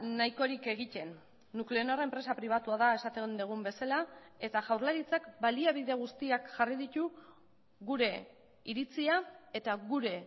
nahikorik egiten nuclenor enpresa pribatua da esaten dugun bezala eta jaurlaritzak baliabide guztiak jarri ditu gure iritzia eta gure